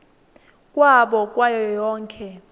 kwabo kwayo yonkhe